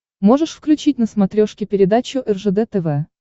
можешь включить на смотрешке передачу ржд тв